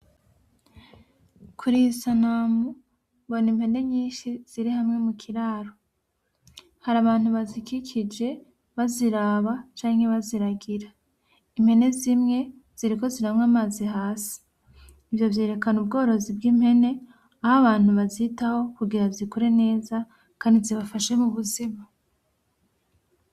Kuriyi sanamu mbona impene nyinshi ziri hamwe mu kiraro, hari abantu bazikikije baziraba canke baziragira, impene zimwe ziriko ziranywa amazi hasi, ivyo vyerekana ubworozi bw'impene aho abantu bazitaho kugira zikure neza kandi zibafashe mu buzima.